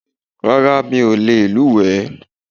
Rárá o, mi ò lè luwẹ̀ẹ́